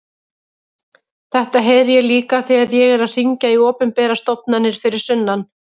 Þetta heyri ég líka þegar ég er að hringja í opinberar stofnanir fyrir sunnan.